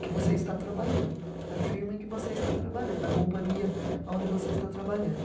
que você está trabalhando, da firma em que você está trabalhando, da companhia aonde você está trabalhando.